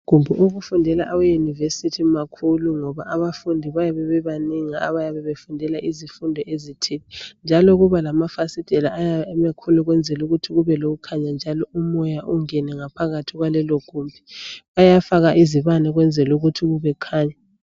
Amagumbi okufundela awe university makhulu ngoba abafundi bayabe bebanengi abayabe befundela izifundo ezithile , njalo kulokuba lama fasitela ayabe emakhulu ukwenzela ukuthi kube lokukhanya njalo umoya ungene ngaphakathi kwalelo gumbi. Bayafaka izibane ukwenzela ukuthi kukhanye.